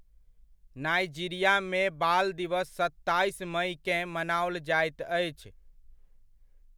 नाइजीरियामे बाल दिवस सत्ताइस मइकेँ, मनाओल जाइत अछि।